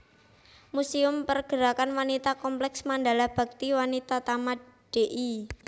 Muséum Pergerakan Wanita Kompleks Mandala Bhakti Wanitatama Dl